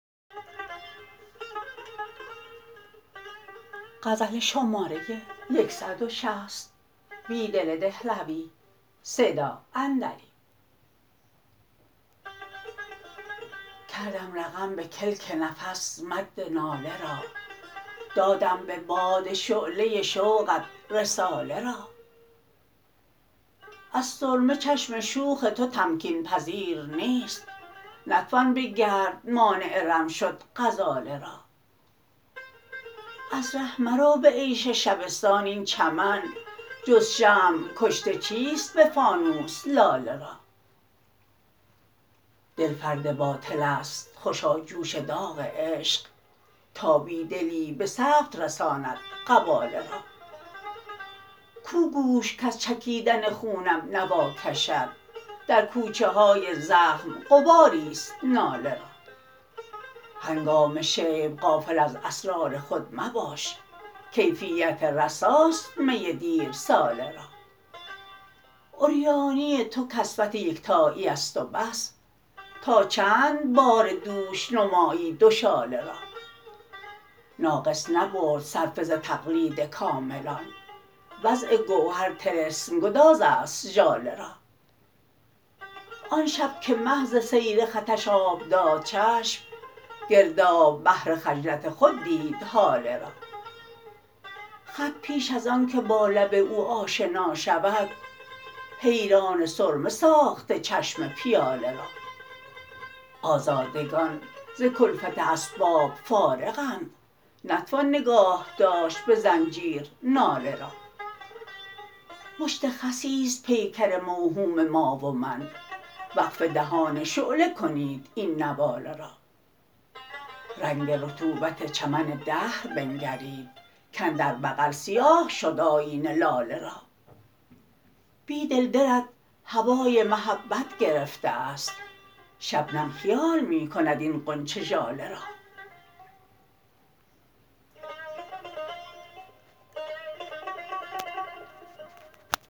کردم رقم به کلک نفس مد ناله را دادم به باد شعله شوقت رساله را از سرمه چشم شوخ تو تمکین پذیر نیست نتوان به گرد مانع رم شد غزاله را از ره مروبه عیش شبستان این چمن جز شمع کشته چیست به فانوس لاله را دل فرد باطل است خوشا جوش داغ عشق تا بیدلی به ثبت رساند قباله را کوگوش کز چکیدن خونم نواکشد درکوچه های زخم غباری ست ناله را هنگام شیب غافل از اسرار خودمباش کیفیت رساست می دیر ساله را عریانی توکسوت یکتایی است و بس تا چند بار دوش نمایی دو شاله را ناقص نبرد صرفه ز تقلیدکاملان وضع گوهر طلسم گداز است ژاله را آن شب که مه زسیرخطش آب داد چشم گرداب بحر خجلت خود دید هاله را خط پیش ازآنکه با لب او آشنا شود حیران سرمه ساخته چشم پیاله را آزادگان زکلفت اسباب فارغند نتوان نگاه داشت به زنجیر ناله را مشت خسی ست پیکر موهوم ما ومن وقف دهان شعله کنید این نواله را رنگ رطوبت چمن دهربنگرید کاندربغل سیاه شد آیینه لاله را بیدل دلت هوای محبت گرفته است شبنم خیال می کند این غنچه ژاله را